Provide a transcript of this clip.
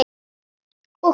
Og kvöl.